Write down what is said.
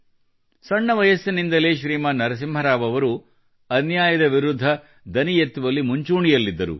ಸಣ್ಣ ವಯಸ್ಸಿನಿಂದಲೇ ಶ್ರೀಮಾನ್ ನರಸಿಂಹ ರಾವ್ ಅವರು ಅನ್ಯಾಯದ ವಿರುದ್ಧ ದನಿ ಎತ್ತುವಲ್ಲಿ ಮುಂಚೂಣಿಯಲ್ಲಿದ್ದರು